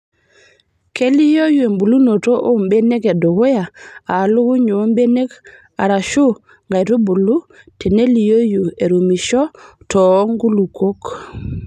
Keliioyu embulunoto oo mbenek edukuya aa lukuny oo mbenek arashuu nkaitubulu teneliooyu erumishoo too nkulukok.